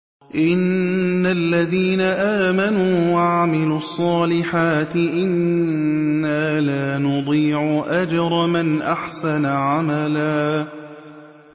إِنَّ الَّذِينَ آمَنُوا وَعَمِلُوا الصَّالِحَاتِ إِنَّا لَا نُضِيعُ أَجْرَ مَنْ أَحْسَنَ عَمَلًا